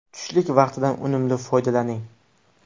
Tushlik vaqtidan unumli foydalaning!